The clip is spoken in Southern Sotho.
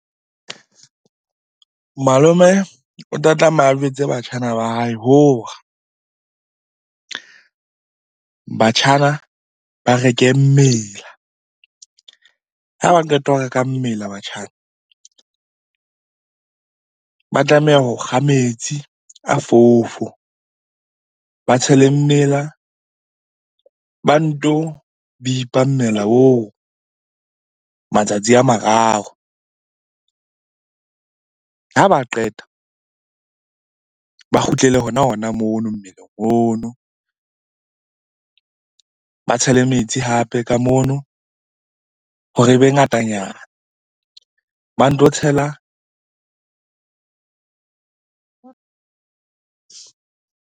Malome o tla tlameha a jwetse batjhana ba hae hore batjhana ba reke mmela. Ha ba qeta ho reka mmela batjhana ba tlameha ho kga metsi a fofo, ba tshele mmela ba nto bipa mmela oo matsatsi a mararo. Ha ba qeta ba kgutlele hona-hona mono mmeleng ono. Ba tshele metsi hape ka mono hore e be ngatanyana, ba nto tshela.